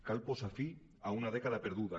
cal posar fi a una dècada perduda